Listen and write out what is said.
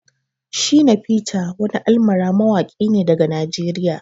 Shina peter wani almara mawaki ne daga Najeriya.